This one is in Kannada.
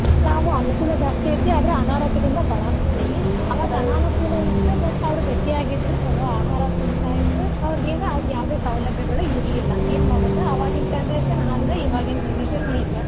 ಇವಾಗ ಅನುಕೂಲ ಜಾಸ್ತಿ ಐತಿ ಆದ್ರ ಅನಾರೋಗ್ಯದಿಂದ ಬಾಳಾಕತ್ತೆವಿ. ಇತ್ತು but ಅವ್ರ್ ಗಟ್ಟಿಯಾಗಿದ್ರು ಚಲೋ ಆಹಾರ ತಿಂತಾಯಿದ್ರ್ ಅವ್ರಿಗೇನು ಅದ್ ಯಾವ್ದೆ ಸೌಲಭ್ಯಗಳ್ ಇರ್ಲಿಲ್ಲಾ. ಏನ್ ಮಾಡೋದ್ ಅವಾಗಿನ್ generation ಹಂಗ ಈವಾಗಿನ್ generation ಹಿಂಗ.